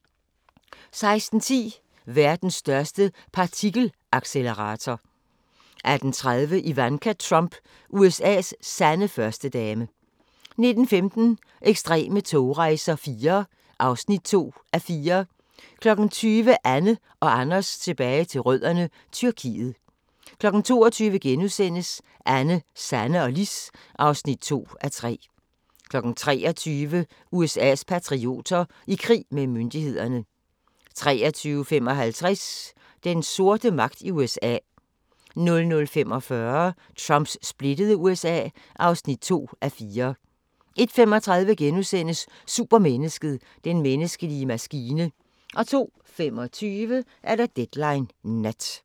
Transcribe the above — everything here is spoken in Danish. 16:10: Verdens største partikelaccelerator 18:30: Ivanka Trump – USA's sande førstedame 19:15: Ekstreme togrejser IV (2:4) 20:00: Anne & Anders tilbage til rødderne: Tyrkiet 22:00: Anne, Sanne og Lis (2:3)* 23:00: USA's patrioter – i krig med myndighederne 23:55: Den sorte magt i USA 00:45: Trumps splittede USA (2:4) 01:35: Supermennesket: Den menneskelige maskine * 02:25: Deadline Nat